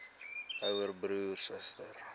ouer broer suster